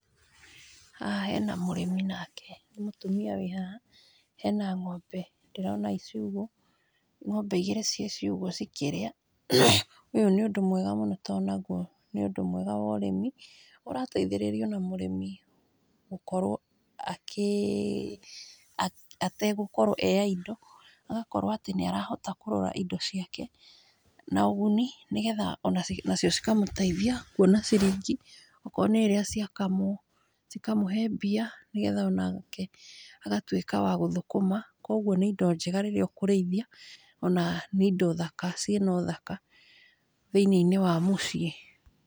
Haha hena mũrĩmi nake nĩ mũtumia wĩ haha, hena ngombe ndĩrona i ciugũ, ngombe igĩrĩ ci ciugũ cikĩrĩa ,ũyũ nĩ ũndũ mwega tondũ nagwo nĩ ũndũ mwega ũrĩmi, ũrateithĩrĩria ona mũrĩmi gũkorwo akĩ akĩ ategũkorwo e idle agakorwo atĩ nĩ arahota kũrora indo ciake na ũguni nĩgetha nacio cikamũteithia kuona ciringi , okorwo nĩ rĩrĩa ciakamwo , cikamũhe mbia nĩgetha onake agatwĩka wagũthũkũma, kũgwo nĩ indo njega rĩrĩa ũkũrĩithia , ona nĩ indo thaka cina ũthaka thĩiniĩ wa mũciĩ.